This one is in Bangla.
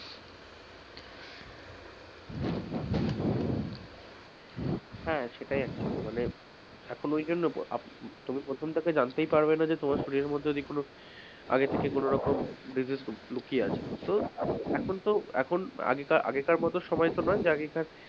হ্যাঁ সেটাই actually মানে এখন ঐজন্য উম তুমি প্রথম টাতে জানতেই পারবেন না যে তোমার শরীরের মধ্যে কোনো আগে থেকে কোনোরকম কিছু লুকিয়ে আছে, এখন তো আগেকার মতো সময় তো নয় যে আগেকার,